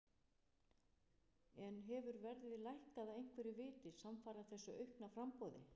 En hefur verðið lækkað af einhverju viti samfara þessu aukna framboði?